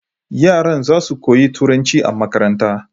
Yaran zasu koyi turanci a makaranta